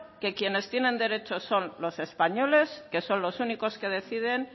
que quienes tienen derechos son los españoles que son los únicos que deciden